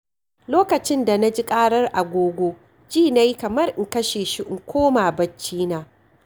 Lokacin da na ji ƙarar agogo, ji na yi kamar in kashe shi in koma barcina.